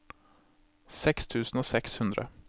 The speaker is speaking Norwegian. seks tusen og seks hundre